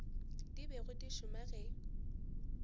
di bego di šoma ge